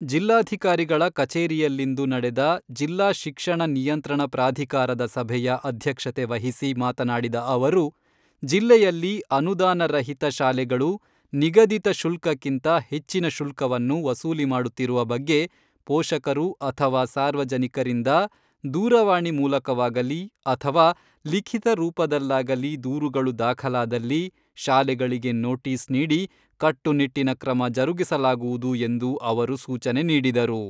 ಜಿಲ್ಲಾಧಿಕಾರಿಗಳ ಕಚೇರಿಯಲ್ಲಿಂದು ನಡೆದ ಜಿಲ್ಲಾ ಶಿಕ್ಷಣ ನಿಯಂತ್ರಣ ಪ್ರಾಧಿಕಾರದ ಸಭೆಯ ಅಧ್ಯಕ್ಷತೆ ವಹಿಸಿ ಮಾತನಾಡಿದ ಅವರು, ಜಿಲ್ಲೆಯಲ್ಲಿ ಅನುದಾನ ರಹಿತ ಶಾಲೆಗಳು ನಿಗಧಿತ ಶುಲ್ಕಕ್ಕಿಂತ ಹೆಚ್ಚಿನ ಶುಲ್ಕವನ್ನು ವಸೂಲಿ ಮಾಡುತ್ತಿರುವ ಬಗ್ಗೆ ಪೋಷಕರು ಅಥವಾ ಸಾರ್ವಜನಿಕರಿಂದ ದೂರವಾಣಿ ಮೂಲಕವಾಗಲಿ ಅಥವಾ ಲಿಖಿತ ರೂಪದಲ್ಲಾಗಲಿ ದೂರುಗಳು ದಾಖಲಾದಲ್ಲಿ ಶಾಲೆಗಳಿಗೆ ನೋಟೀಸ್ ನೀಡಿ ಕಟ್ಟುನಿಟ್ಟಿನ ಕ್ರಮ ಜರುಗಿಸಲಾಗುವುದು ಎಂದು ಅವರು ಸೂಚನೆ ನೀಡಿದರು.